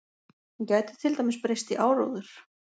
Hún gæti til dæmis breyst í áróður.